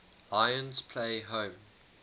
lions play home